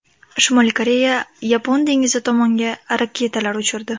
Shimoliy Koreya Yapon dengizi tomonga raketalar uchirdi.